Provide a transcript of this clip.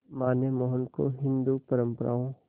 मां ने मोहन को हिंदू परंपराओं